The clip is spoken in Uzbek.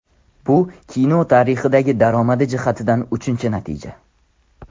Bu kino tarixidagi daromadi jihatidan uchinchi natija.